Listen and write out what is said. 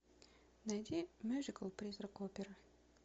найди мюзикл призрак оперы